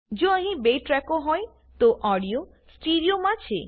જો અહીં 2 ટ્રેકો હોય તો ઓડીયો સ્ટીરિયો માં છે